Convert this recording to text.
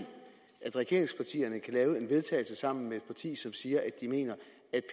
regeringspartierne kan lave et vedtagelse sammen med et parti som siger at de mener